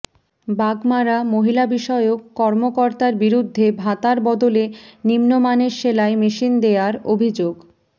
বাগমারা মহিলাবিষয়ক কর্মকর্তার বিরুদ্ধে ভাতার বদলে নিম্নমানের সেলাই মেশিন দেয়ার অভিযোগ